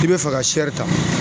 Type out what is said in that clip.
I bɛ fɛ ka ta